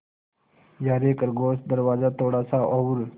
यारे खरगोश दरवाज़ा थोड़ा सा और